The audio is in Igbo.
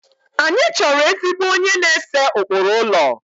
Anyị chọrọ ezigbo onye na-ese ụkpụrụ ụlọ